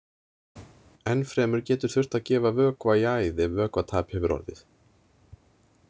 Enn fremur getur þurft að gefa vökva í æð ef vökvatap hefur orðið.